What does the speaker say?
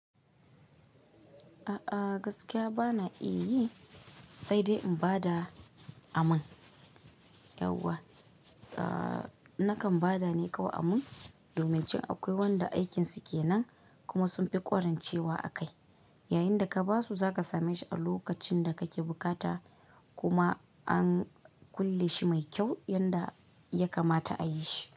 A'a gaskiya bana iya yi, sai dai in ba da aman. Nakan ba da ne kawai aman, domin jin akwai wanda aikinsu kenan kuma sun fi ƙwarancewa akai. Yayinda ka ba su za ka same shi a lokacin da kake bukata kuma an kulle shi mai kyau yanda ya kamata a yi shi.